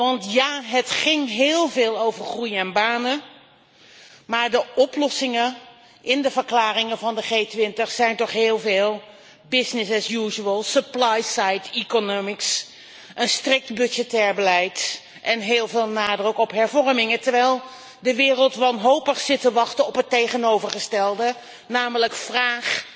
Want ja, het ging heel veel over groei en banen, maar de oplossingen in de verklaringen van de G 20 zijn toch heel veel business as usual supply side economics, een strikt budgettair beleid en heel veel nadruk op hervormingen, terwijl de wereld wanhopig zit te wachten op het tegenovergestelde, namelijk vraag,